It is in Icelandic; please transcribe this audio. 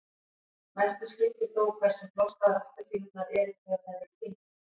mestu skiptir þó hversu þroskaðar appelsínurnar eru þegar þær eru tíndar